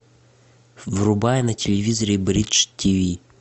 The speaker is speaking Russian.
врубай на телевизоре бридж тиви